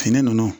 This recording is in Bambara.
Fini nunnu